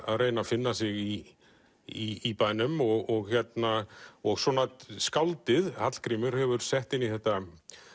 að reyna að finna sig í í bænum og og skáldið Hallgrímur hefur sett inn í þetta